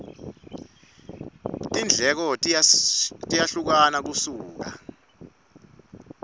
tindleko tiyehlukana kusuka